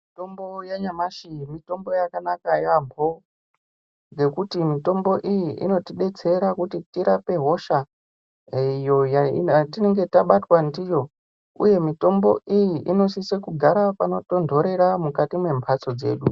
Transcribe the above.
Mitombo yanyamashi mitombo yakanaka yaampho, ngekuti mitombo iyi inotidetsera kuti tirapwe hosha ee iyo yatinenge tabatwa ndiyo, uye mitombo iyi inosise kugara panotontorera mukati mwemphatso dzedu.